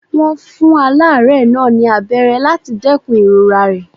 Wọ́n fún aláárẹ̀ náà ní abẹ́rẹ́ láti dẹ́kun ìrora rẹ̀.